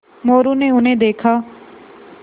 मोरू ने उन्हें देखा